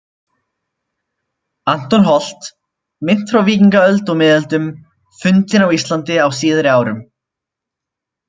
Anton Holt, Mynt frá víkingaöld og miðöldum fundin á Íslandi á síðari árum